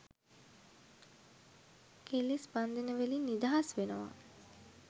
කෙලෙස් බන්ධන වලින් නිදහස් වෙනවා